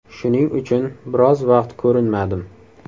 Shuning uchun biroz vaqt ko‘rinmadim.